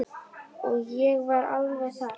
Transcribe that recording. Og ég var alveg þar.